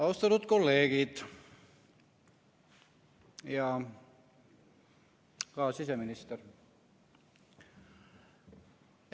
Austatud kolleegid ja ka siseminister!